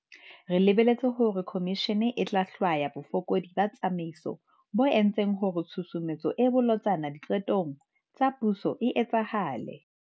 Re lebeletse hore khomishene e tla hlwaya bofokodi ba tsamaiso bo entseng hore tshusumetso e bolotsana diqetong tsa puso e etsahale.